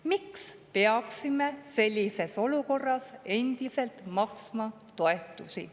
Miks peaksime sellises olukorras endiselt maksma toetusi?